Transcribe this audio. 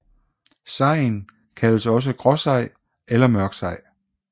Sejen kaldes også gråsej eller mørksej